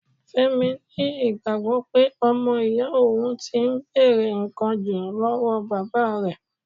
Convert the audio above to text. Fẹ́mi ni ìgbàgbọ́ pé ọmọ iya òhun ti ń bèrè ǹkan jù lọ́wọ́ bàbá rẹ̀.